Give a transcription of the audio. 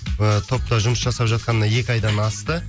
ы топта жұмыс жасап жатқанына екі айдан асты